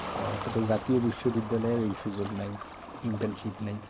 ওহ ওটা তো জাতীয় বিশ্ববিদ্যালয় এর এই সুযোগ নেই internship নেই।